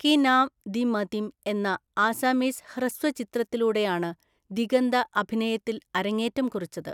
കി നാം ദി മതിം എന്ന ആസാമീസ് ഹ്രസ്വ ചിത്രത്തിലൂടെയാണ് ദിഗന്ത അഭിനയത്തില്‍ അരങ്ങേറ്റം കുറിച്ചത്.